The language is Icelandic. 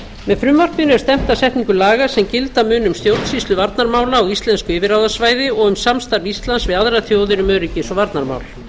með frumvarpinu er stefnt að setningu laga sem gilda munu um stjórnsýslu varnarmála á íslensku yfirráðasvæði og um samstarf íslands við aðrar þjóðir um öryggis og varnarmál